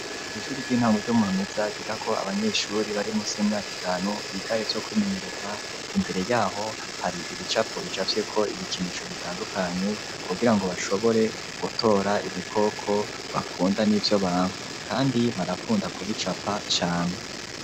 Kw'ishure ry'intango ryo murumeza ryigako abanyeshure bari musi y'imyaka itanu biga ivyo kwimenyereza, imbere yaho hari ibicapo bicafyeko ibikinisho bitandukanye kugira ngo bashobore gutora ibikoko bakunda n'ivyo banka kandi barakunda kubicapa cane.